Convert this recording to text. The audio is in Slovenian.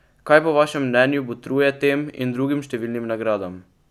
Kaj po vašem mnenju botruje tem in drugim številnim nagradam?